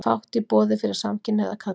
Fátt í boði fyrir samkynhneigða karla